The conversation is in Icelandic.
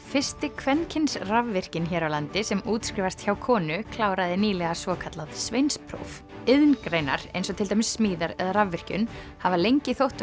fyrsti kvenkyns rafvirkinn hér á landi sem útskrifast hjá konu kláraði nýlega svokallað sveinspróf iðngreinar eins og til dæmis smíðar eða rafvirkjun hafa lengi þótt